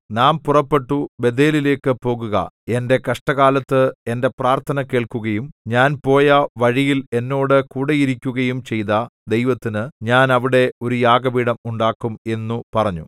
നാം പുറപ്പെട്ടു ബേഥേലിലേക്കു പോകുക എന്റെ കഷ്ടകാലത്ത് എന്റെ പ്രാർത്ഥന കേൾക്കുകയും ഞാൻ പോയ വഴിയിൽ എന്നോട് കൂടെയിരിക്കുകയും ചെയ്ത ദൈവത്തിന് ഞാൻ അവിടെ ഒരു യാഗപീഠം ഉണ്ടാക്കും എന്നു പറഞ്ഞു